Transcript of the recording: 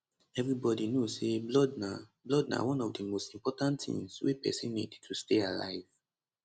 evribody know say blood na blood na one of di most important tins wey pesin need to stay alive